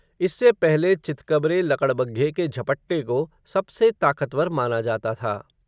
इससे पहले चितकबरे लकड़बग्घे के झपट्टे को, सबसे ताक़तवर माना जाता था.